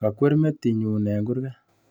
Kakwer metinyu eng kurget